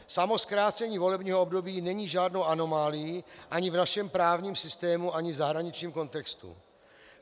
Samo zkrácení volebního období není žádnou anomálií ani v našem právním systému, ani v zahraničním kontextu.